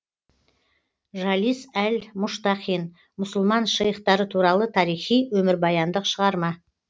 жалис әл мұштақин мұсылман шейхтары туралы тарихи өмірбаяндық шығарма